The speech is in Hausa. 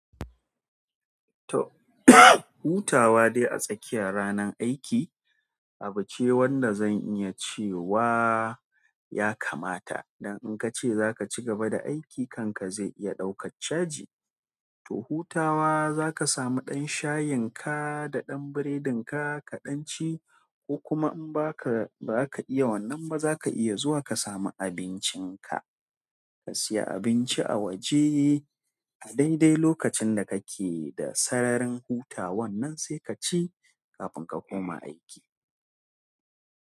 To hutawa dai a tsakiya ranan aiki abu ce wanda zan iya cewa ya kamata. Dan in kace zaka cigaba da aiki kan ka zai iya ɗaukar caji. To hutawa zaka samu dan shyinka da ɗan buredin ka daɗan ci. Ko kuma in ba ka, ba ka iya wannan ba za ka iya zuwa ka samu abincin ka. Ka siya abinci a waje a daidai lokacin da kake da sararin hutawan nan sai kaci kafin ka koma aiki.